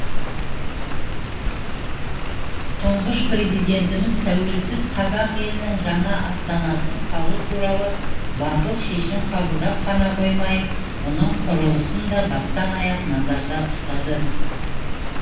тұңғыш президентіміз тәуелсіз қазақ елінің жаңа астанасын салу туралы батыл шешім қабылдап қана қоймай оның құрылысын да бастан аяқ назарда ұстады